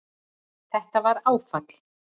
Þetta var áfall